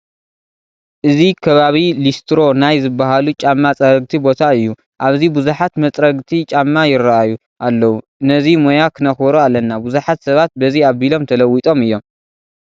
እዚ ከባቢ ሊስትሮ ናይ ዝበሃሉ ጫማ ፀረግቲ ቦታ እዩ፡፡ ኣብዚ ብዙሓት መፅሪግቲ ጫማ ይርአዩ ኣለዉ፡፡ ነዚ ሞያ ክነክብሮ ኣለና፡፡ ብዙሓት ሰባት በዚ ኣቢሎም ተለዊጦም እዮም፡፡